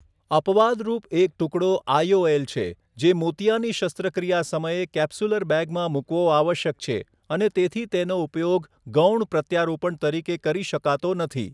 અપવાદરૂપ એક ટુકડો આઈઓએલ છે, જે મોતિયાની શસ્ત્રક્રિયા સમયે કેપ્સ્યુલર બેગમાં મૂકવો આવશ્યક છે અને તેથી તેનો ઉપયોગ ગૌણ પ્રત્યારોપણ તરીકે કરી શકાતો નથી.